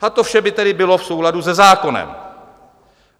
A to vše by tedy bylo v souladu se zákonem.